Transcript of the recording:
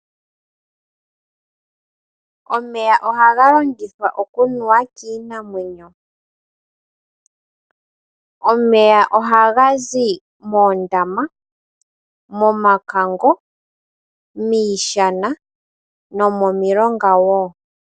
Omeya ohaga longithwa okunuwa kiinamwenyo. Omeya ohaga zi moondama, momakango , miishana nomomilonga wo.